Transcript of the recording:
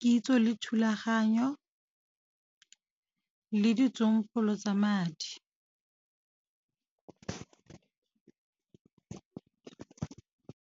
kitso le thulaganyo, le ditsompolo tsa madi.